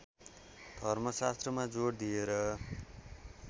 धर्मशास्त्रमा जोड दिएर